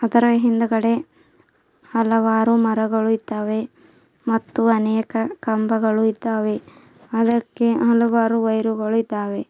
ಅದರ ಹಿಂದ್ಗಡೆ ಹಲವಾರು ಮರಗಳು ಇದ್ದಾವೆ ಮತ್ತು ಅನೇಕ ಕಂಬಗಳು ಇದ್ದಾವೆ ಅದಕ್ಕೆ ಹಲವಾರು ವೈರ್ಗಳು ಇದ್ದಾವೆ.